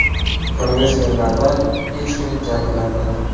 Kongressmenlardan hech kim jabrlanmadi.